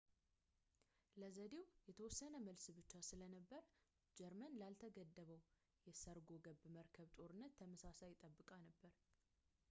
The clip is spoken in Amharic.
ለዘዴው የተወሰነ መልስ ብቻ ስለነበር ጀርመን ላልተገደበው የሰርጎገብ መርከብ ጦርነት ተመሳሳይ ጠብቃ ነበር